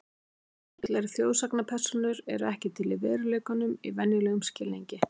Tröll eru þjóðsagnapersónur eru ekki til í veruleikanum í venjulegum skilningi.